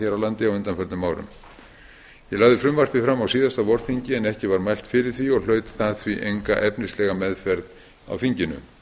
á undanförnum árum ég lagði frumvarpið fram á síðasta vorþingi en ekki var mælt fyrir því og hlaut það því enga efnislega meðferð á þinginu